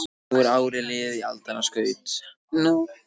Nú árið er liðið í aldanna skaut